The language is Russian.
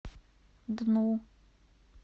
дну